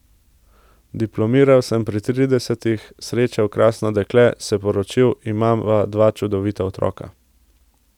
Diplomiral sem pri tridesetih, srečal krasno dekle, se poročil, imava dva čudovita otroka.